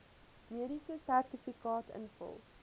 mediese sertifikaat invul